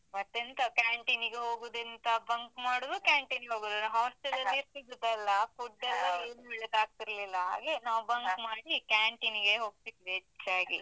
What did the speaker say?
ಮತ್ತೆಂತ canteen ಗೆ ಹೋಗುದೆಂತ, bunk ಮಾಡುದು canteen ಗೆ ಹೋಗುದು ನಾವ್. ಒಳ್ಳೆದ್ ಆಗ್ತಿರ್ಲಿಲ್ಲ, ಹಾಗೆ. canteen ಗೆ ಹೋಗ್ತಿದ್ವಿ, ಹೆಚ್ಚಾಗಿ.